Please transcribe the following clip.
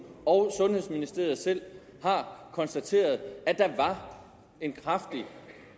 og sundhedsministeriet selv har konstateret at der var en kraftig